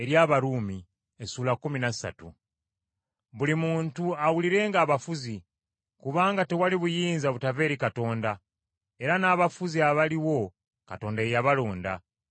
Buli muntu awulirenga abafuzi, kubanga tewali buyinza butava eri Katonda, era n’abafuzi abaliwo Katonda ye yabalonda.